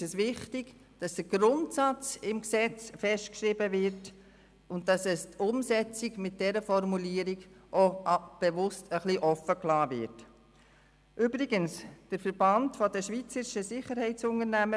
Für uns ist wichtig, dass im Gesetz der Grundsatz festgeschrieben und die Umsetzung mit dieser Formulierung bewusst ein wenig offen gelassen wird.